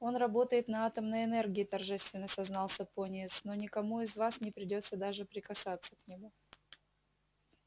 он работает на атомной энергии торжественно сознался пониетс но никому из вас не придётся даже прикасаться к нему